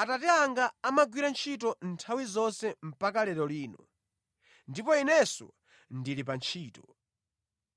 “Atate anga amagwira ntchito nthawi zonse mpaka lero lino, ndipo Inenso ndili pa ntchito.”